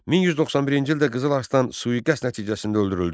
1191-ci ildə Qızıl Arslan sui-qəsd nəticəsində öldürüldü.